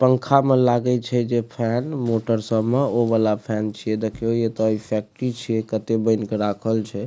पंखा में लागय छै जे फैन मोटर सब में ओ वाला फैन छीये देखियो ओते इ फैक्टरी छै केते बएन के राखल छै।